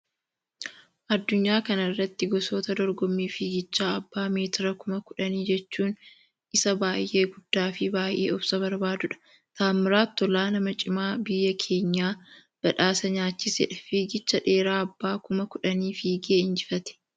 Addunyaa kana irratti gosoota dorgommii fiigichaa abbaa meetira kuma kudhanii jechuun isa baayyee guddaa fi baayyee obsa barbaadudha. Taammiraat Tolaa nama cimaa biyya keenya badhaasa nyaachisedha fiigicha dheeraa abbaa kuma kudhanii fiigee injifatee.